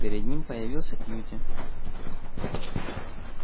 перед ним появился кьюти